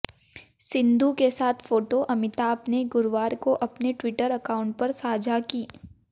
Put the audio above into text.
सिंधु के साथ फोटो अमिताभ ने गुरुवार को अपने ट्विटर अकाउंट पर साझा की